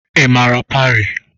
Ị mara Parii?